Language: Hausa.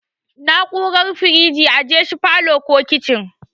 Na'urar firiji ajeshi falow ko kicin